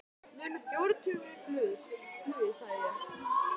Munar fjórum tímum í flugi sagði ég.